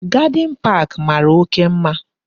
Gadin park mara oke mma